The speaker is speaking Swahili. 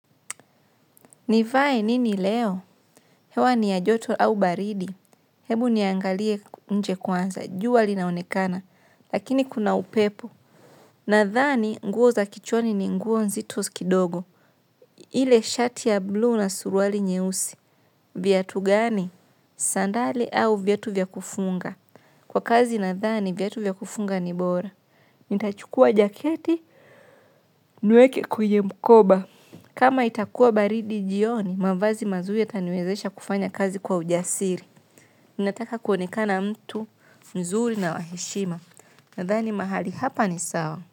Nivae nini leo? Hewa ni ya joto au baridi. Hebu niangalie nje kwanza. Jua linaonekana. Lakini kuna upepo. Nadhani nguo za kichwani ni nguo nzito kidogo. Ile shati ya blue na suruali nyeusi. Viatu gani? Sandali au viatu vya kufunga. Kwa kazi nadhani viatu vya kufunga ni bora. Nitachukua jaketi. Niweke kwenye mkoba. Kama itakuwa baridi jioni, mavazi mazuri yataniwezesha kufanya kazi kwa ujasiri. Nataka kuonekana mtu mzuri na wa heshima. Nadhani mahali hapa ni sawa.